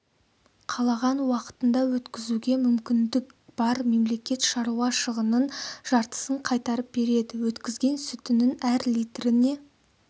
қалаған уақытында өткізуге мүмкіндік бар мемлекет шаруа шығынының жартысын қайтарып береді өткізген сүтінің әр литріне